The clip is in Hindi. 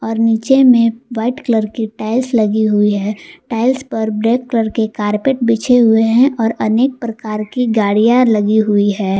और नीचे में वाइट कलर की टाइल्स लगी हुई हैं टाइल्स पर ब्लैक कलर का कॉरपेट बिछे हुए हैं और अनेक प्रकार की गाड़ियां लगी हुई है।